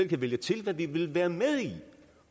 kan vælge til hvad vi vil være med i